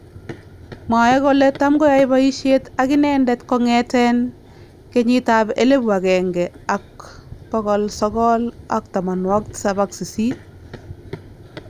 Mwae kole tamkoyae boyisyeet akinendet kong'eteen 1978